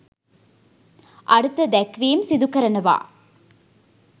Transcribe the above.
අර්ථ දැක්වීම් සිදු කරනවා.